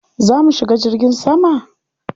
Za mu shiga jirgin sama?